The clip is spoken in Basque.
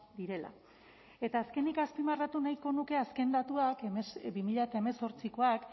direla eta azkenik azpimarratu nahiko nuke azken datuak bi mila hemezortzikoak